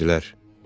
Düşündülər.